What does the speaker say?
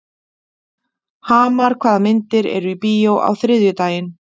Hamar, hvaða myndir eru í bíó á þriðjudaginn?